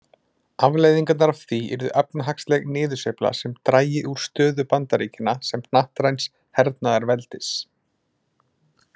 Afleiðingarnar af því yrðu efnahagsleg niðursveifla sem drægi úr stöðu Bandaríkjanna sem hnattræns hernaðarveldis.